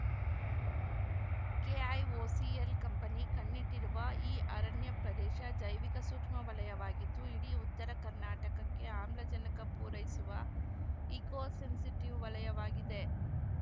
KIOCL company ಕಣ್ಣಿಟ್ಟಿರುವ ಈ ಅರಣ್ಯ ಪ್ರದೇಶ ಜೈವಿಕ ಸೂಕ್ಷ್ಮವಲಯವಾಗಿದ್ದು ಇಡೀ ಉತ್ತರ ಕರ್ನಾಟಕಕ್ಕೆ ಆಮ್ಲಜನಕ ಪೂರೈಸುವ ಇಕೋ ಸೆನ್ಸಿಟಿವ್‌ ವಲಯವಾಗಿದೆ